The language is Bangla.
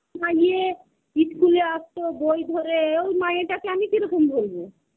তোমারে ইয়ে ইস্কুলে আসত বই ধরে ওই মাইয়াটাকে আমি কিরকম ভুলবো?